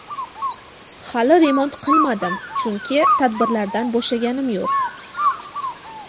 Hali remont qilmadim, chunki tadbirlardan bo‘shaganim yo‘q.